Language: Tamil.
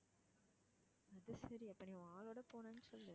அது சரி அப்போ நீ உன் ஆளோட போனேன்னு சொல்லு.